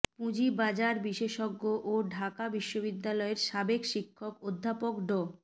পুঁজিবাজার বিশেষজ্ঞ ও ঢাকা বিশ্ববিদ্যালয়ের সাবেক শিক্ষক অধ্যাপক ড